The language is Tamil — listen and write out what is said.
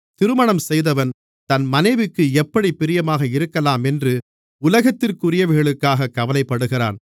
திருமணம் செய்தவன் தன் மனைவிக்கு எப்படிப் பிரியமாக இருக்கலாமென்று உலகத்திற்குரியவைகளுக்காகக் கவலைப்படுகிறான்